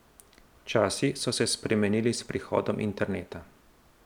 Časi so se spremenili s prihodom interneta.